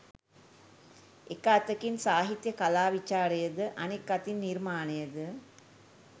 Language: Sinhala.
එක් අතකින් සාහිත්‍ය කලා විචාරය ද අනෙක් අතින් නිර්මාණය ද